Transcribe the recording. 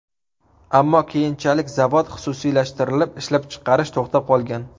Ammo keyinchalik zavod xususiylashtirilib, ishlab chiqarish to‘xtab qolgan.